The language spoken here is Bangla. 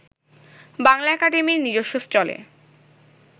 বাংলা একাডেমির নিজস্ব স্টলে